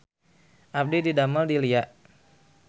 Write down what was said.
Abdi didamel di Lia